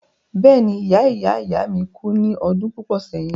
Bẹ́ẹ̀ni ìya ìya ìya mi kú ní ọdún púpọ̀ sẹ́yìn.